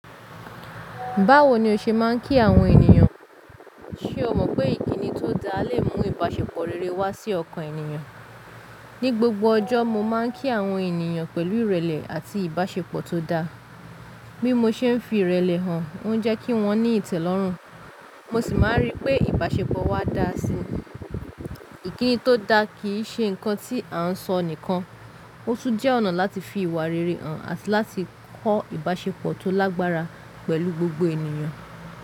Báwo ni o ṣe máa ń kí àwọn ènìyàn? Ṣé o mọ̀ pé ìkíni tó dáa lè mú ìbáṣepọ̀ rere wá sí ọkàn ènìyàn? Ni gbogbo ọjọ́, mo máà ń kí àwọn ènìyàn pẹ̀lú ìrẹ̀lẹ̀ àti ìbáṣepọ̀ tó dáa. Bí mo ṣe ń fi ìrẹ̀lẹ̀ hàn, ó ń jẹ́ kí wọ́n ní ìtẹ́lọ́rùn, mo sì máa rí pé ìbáṣepọ̀ wa dáa sí i. Ìkíni tó dáa kì í ṣe nǹkan tí à ń sọ nìkan; ó tún jẹ́ ọ̀nà láti fi ìwà rere hàn àti láti kọ́ ìbáṣepọ̀ tó lágbára pẹ̀lú gbogbo ènìyàn.